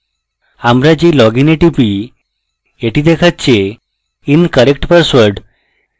আমরা যেই login এ টিপি এটি দেখাচ্ছে incorrect password